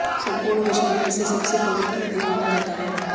संपूर्ण विश्व में इसे सबसे पवित्र नदी माना जाता है